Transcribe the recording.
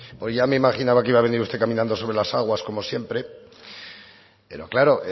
ya me imaginaba que iba a venir usted caminando sobre las aguas como siempre pero claro